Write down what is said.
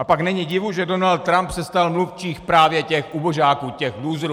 A pak není divu, že Donald Trump se stal mluvčím právě těch ubožáků, těch lůzrů.